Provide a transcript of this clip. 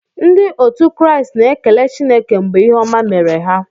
Ndị otu Kraịst na-ekele Chineke mgbe ihe ọma mere ha.